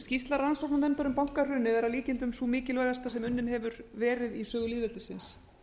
skýrsla rannsóknarnefndar um bankahrunið er að líkindum sú mikilvægasta sem unnin hefur verið í sögu lýðveldisins